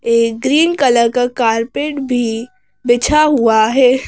यह green colour का carpet भी बिछा हुआ है।